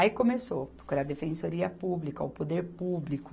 Aí começou, porque era a Defensoria Pública, o Poder Público,